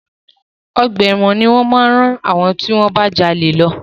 Ọgbà ẹ̀wọ̀n ni wọ́n máa rán àwọn tí wọ́n bá jalè lọ.